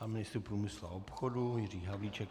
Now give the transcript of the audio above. Pan ministr průmyslu a obchodu Jiří Havlíček.